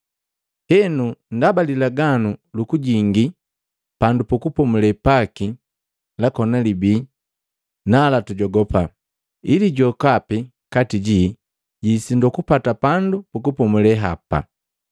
Henu ndaba lilaganu lukujingi pandu pukupomule paki lakona libii, nala tujogupa ili jokapi kati ji jwiisindwa kupata pandu pukupomule hapa.